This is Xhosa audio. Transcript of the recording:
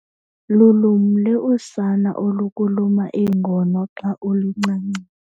Lulumle usana olukuluma iingono xa ulincancisa.